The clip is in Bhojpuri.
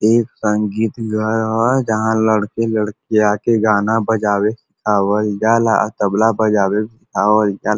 एक संगीत घर है जहाँ लड़के लडकियां आके गाना बजावे आवल जाला तबला बजावे आवल जाला।